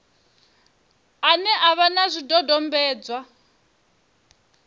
ane a vha na zwidodombedzwa